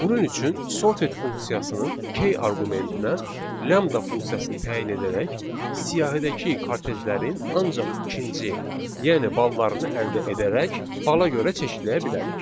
Bunun üçün sorted funksiyasının key arqumentinə lambda funksiyasını təyin edərək siyahidəki kartejlərin ancaq ikinci, yəni ballarını əldə edərək bala görə çeşidləyə bilərik.